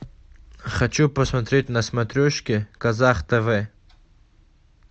хочу посмотреть на смотрешке казах тв